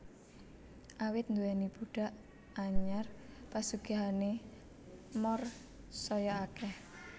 Awit nduwèni budhak anyar pasugihané Moor saya akèh